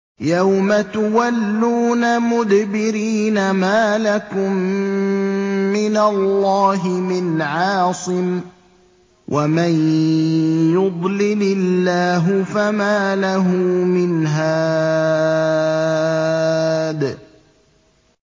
يَوْمَ تُوَلُّونَ مُدْبِرِينَ مَا لَكُم مِّنَ اللَّهِ مِنْ عَاصِمٍ ۗ وَمَن يُضْلِلِ اللَّهُ فَمَا لَهُ مِنْ هَادٍ